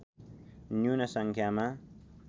न्यून सङ्ख्यामा